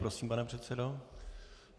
Prosím, pane předsedo.